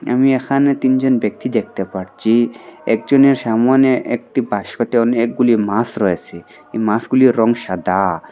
আমি এখানে তিনজন ব্যক্তি দেখতে পারছি একজনের সামোনে একটি বাস্কতে অনেকগুলি মাস রয়েসে এই মাসগুলির রঙ সাদা।